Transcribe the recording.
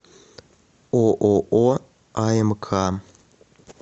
ооо амк